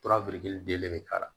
den le bɛ k'a la